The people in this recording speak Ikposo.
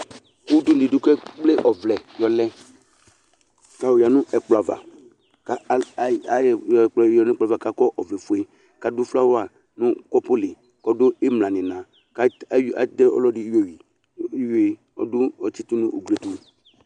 Udunudi ké kplé ɔvlɛ yɔ lɛ ka oya nu ɛkplɔava kakɔ ọvlɛ fué kadu flawa nu kɔpu li kɔdu imlan ni ina katɛ ɔludi ka tsitu nu ugliɛtu